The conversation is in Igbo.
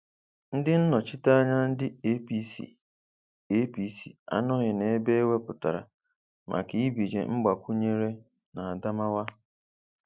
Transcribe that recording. Ndị nnọchiteanya ndị APC APC anọghị na ebe eweputara maka ibinye Mgbakwunyere n' Adamawa.